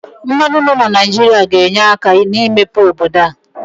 Mmanụ nọ na Naijiria ga-enye aka n'imepe obodo a.